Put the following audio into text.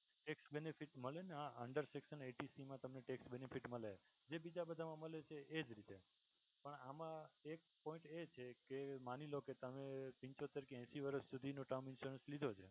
tax benefit મળે ને હા under section eighty c મા તમે tax benefit મળે જે બીજા મા મળે છે એ જ રીતે આમાં એક point એ છે કે માની લો કે તમે પંચોતેર કે એશી વર્ષ સુધીનો term insurance લીધો છે.